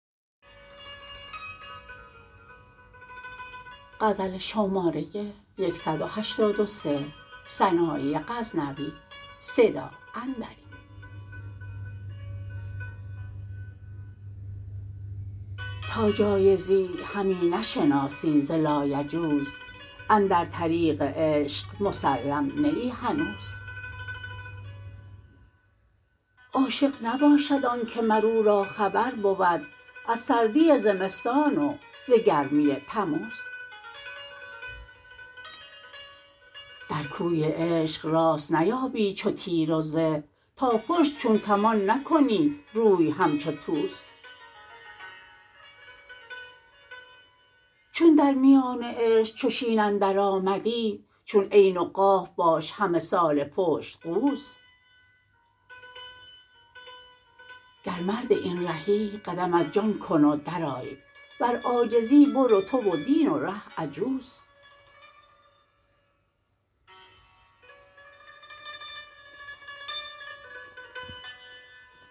تا جایزی همی نشناسی ز لایجوز اندر طریق عشق مسلم نه ای هنوز عاشق نباشد آن که مر او را خبر بود از سردی زمستان و ز گرمی تموز در کوی عشق راست نیابی چو تیر و زه تا پشت چون کمان نکنی روی همچو توز چون در میان عشق چو شین اندر آمدی چون عین و قاف باش همه ساله پشت قوز گر مرد این رهی قدم از جان کن و در آی ور عاجزی برو تو و دین و ره عجوز